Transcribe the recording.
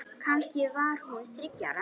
Kannski var hún þriggja ára.